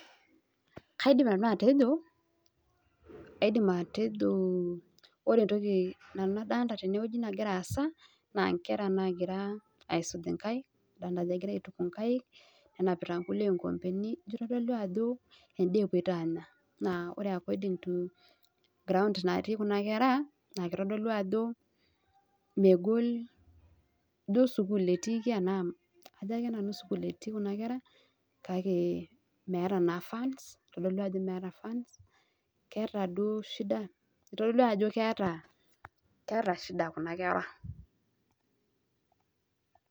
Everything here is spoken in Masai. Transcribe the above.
Kaidim nanu atejo, aidim atejo ore entoki nanu nadolita tenewueji nagira aasa naa inkera naagira aisuj nkaik, adolita ajo egira aaituku nkaik, nenapita nkulie nkikombeni, ijo itodolu ajo endaa epwoita aanya. Naa ore according to ground natii kuna kera naa kitodolu ajo megol, ijo sukul etiiki enaa ajo ake nanu sukuul etii kuna kera kake meeta naa funds, itodolu ajo keeta duo shida itodua ajo keeta, keeta shida kuna kera